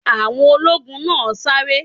Àwọn ológun náà ń sáré